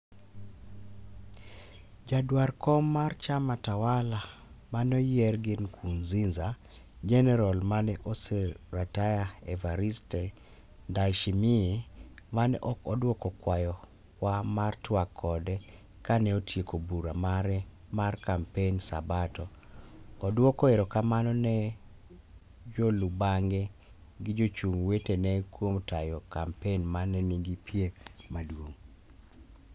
Jaduar kom mar chama tawala maneoyier gi Nkuruziza, jenerol mane osaretire Evariste Ndayshimiye, mane ok odwoko kwayo wa mar twak kode kane otieko bura mare mar kampen sabato, oduoko erokamano ne jolubang'e gi jochung' wetene kuom tayo kampen mane nigi piem maduong'.